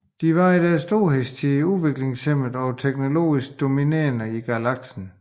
De var i deres storhedstid udviklingsmæssigt og tekonologisk dominerende i galaksen